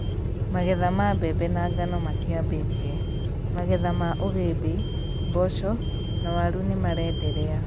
Magetha ma mbembe na ngano matiambĩtie; magetha ma ũgĩmbĩ , mboco, na waru nĩmarenderea